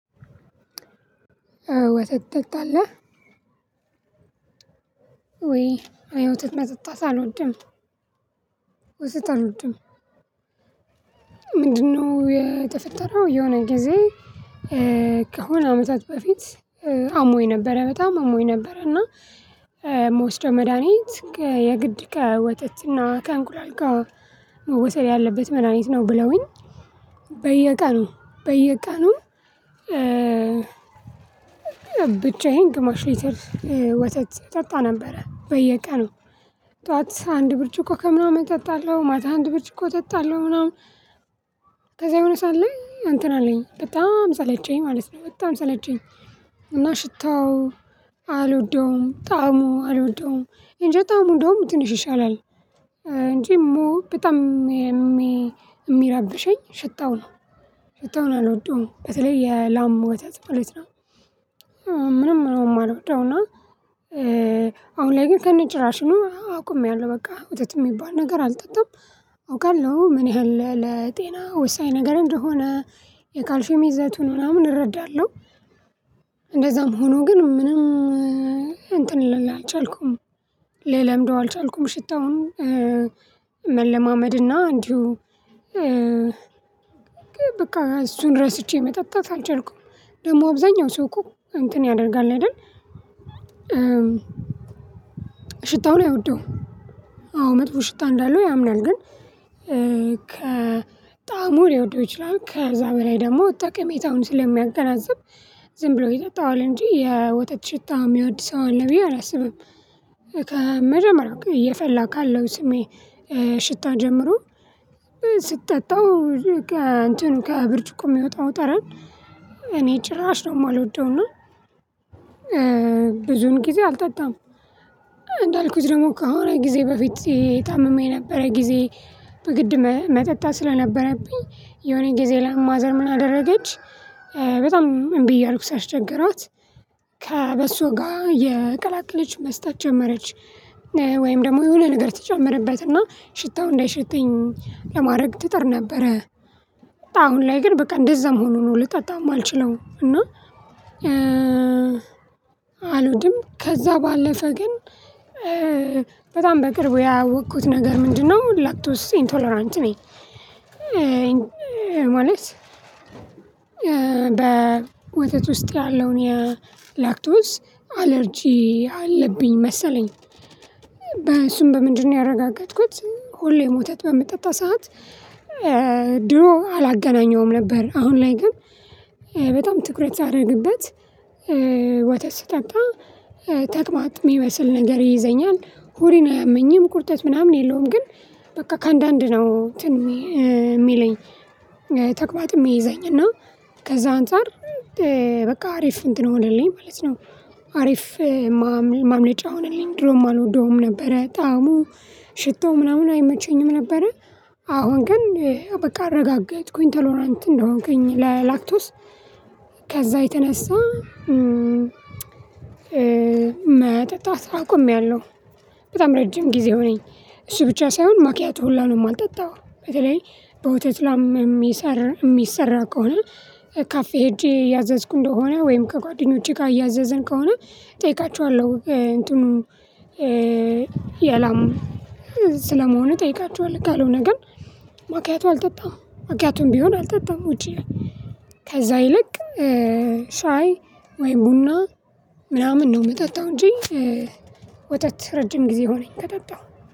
ወተት ወተት ትጠጣለህ? ወይ ወይ ወተት መጠጣት አልወድም ወተት አልወድም። ምንድነው የተፈጠረው የሆነ ጊዜ ከሆነ አመታት በፊት አሞኝ ነበረ በጣም አሞኝ ነበረ። እና እምወስደው መድሃኒት የግድ ከወተት እና ከእንቁላል ጋር መወሰድ ያለበት መዳኒት ነው ብለውኝ በየቀኑ በየቀኑ ብቻዬን ግማሽ ሊትር ወተት ጠጣ ነበረ። በየቀኑ ጠዋት አንድ ብርጭቆ ከምናምን ጠጣለሁ ማታ አንድ ብርጭቆ ጠጣለሁ ምናምን ከዛ የሆነ ሳዓት ለይ አንተን አለኝ በጣም ሰለቸኝ ማለት ነው በጣም ሰለቸኝ። እና ሽታው አልወደውም ጣዕሙ አልወደውም እንጂ ጣዕሙ እንደውም ትንሽ ይሻላል እንጂ በጣም የሚረብሸኝ ሽታው ነው ሽታውን አልወዱዉም በተለይ የላም ወተት ማለት ነው። ምንም ነው የማልወደው እና አሁን ላይ ግን ከነጭራሽኑ አቆሜያለሁ በቃ ወተት የሚባል ነገር አልጠጣም። አውቃለሁ ምን ያህል ለጤና ወሳኝ ነገር እንደሆነ የካልሼም ይዝቱን ምናምን እረዳለሁ። እንደዛም ሆኖ ግን ምንም ልል አልቻልኩም ልለምደው አልቻልኩም ሽታውን መለማመድና እንዲሁ በቃ እሱን ረስቼ መጠጣት አልቻልኩም። ደግሞ አብዛኛው ሰው እኮ እንትን ያደርጋል አይደል ሽታውን አይወደውም መጥፎ ሽታ እንዳለው ያምናል ግን ከጣሙ ሊወደው ይችላል። ከዛ በላይ ደግሞ ጠቅሜታውን ስለሚያገናዝብ ዝም ብሎ የጠጣዋል እንጂ የወተት ሽታ የሚወድ ሰው አለ ብዬ አላስብም። ከመጀመሪያው እየፈላ ካለው ስሜ ሽታ ጀምሮ ስትጠጣው እንትኑ ከብርጭቆ የሚወጣው ጠረን እኔ ጭራሽ ነው የማልወደውና እና ብዙን ጊዜ አልጠጣም። እንዳልኩት ደግሞ ከአሁን ጊዜ በፊት ታምሜ የነበረ ጊዜ በግድ መጠጣት ስለነበረብኝ የሆነ ጊዜ ላይ ማዘር ምን አደረገች? በጣም እምቢ እያልኩ ሳስቸገሯት ከበሶ ጋር እየቅላቅለች መስጠት ጀመረች ወይም ደግሞ የሆነ ነገር ትጨምርበትና ሽታው እንዳይሸተኝ ለማረግ ትጥር ነበረ። አሁን ላይ ግን በቃ እንደዛ ሆኖም ነው ልጠጣው አማልችለው እና። አልድም ከዛ ባለፈ ግን በጣም በቅርቡ ያወኩት ነገር ምንድነው ላክቶስ ኢንቶለራንት? ማለት በወተት ውስጥ ያለውን የላክቶስ አለርጂ አለብኝ መሰለኝ። በእሱም በምንድነው ያረጋገጥኩት ሁሌ ወተት በምትጠጣ ሰዓት ድሮ አላገናኘውም ነበር። አሁን ላይ ግን በጣም ትኩረት ሳደርግበት ወተት ስጠጣ ተቅማጥ የሚመስል ነገር ይይዘኛል ሆዴን አያመኝም ቁርጠት ምናምን የለውም። ግን በቃ ከአንዳንድ ነው እንትን የሚለኝ ተቅማጥ የሚይዘኝ እና ከዛ አንፃር በቃ አሪፍ እንትን ሆነልኝ ማለት ነው። አሪፍ ማምለጫ ሆነልኝ ድሮም አልወደውም ነበረ ጣዕሙ ሽታው ምናምን አይመቸኝም ነበረ። አሁን ግን በቃ አረጋጋጥኩኝ ቶሎራንት እንደሆንከኝ ለላክቶስ ከዛ የተነሳ መጠጣት አቆምያለሁ። በጣም ረጅም ጊዜው ሆነኝ እሱ ብቻ ሳይሆን ማኪያቶ ሁላ ነው የማልጠጣው። በተለይ በወተት ላም የሚሰራ ከሆነ ካፌ ሄጄ እያዘዝኩ እንደሆነ ወይም ከጓደኞቼ ጋር እያዘዝን ከሆነ እጠይቃቸዋለሁ እንትኑ የላም ስለመሆኑ እጠይቃቸዋለሁ ካልሆነ ግን ማኪያቶ አልጠጣም ማኪያቶ ቢሆን አልጠጣም። ውጪ ከዛ ይልቅ ሻይ ወይ ቡና ምናምን ነው የምጠጣው። እንጂ ወተት ረጅም ጊዜ ሆነኝ ከጠጣሁ